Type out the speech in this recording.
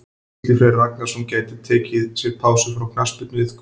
Gísli Freyr Ragnarsson gæti þó tekið sér pásu frá knattspyrnuiðkun.